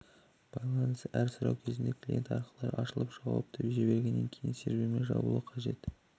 байланысы әр сұрау кезінде клиент арқылы ашылып жауапты жібергеннен кейін сервермен жабылуы қажет